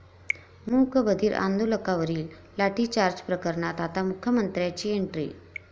मूकबधीर आंदोलकांवरील लाठीचार्ज प्रकरणात आता मुख्यमंत्र्यांची एंट्री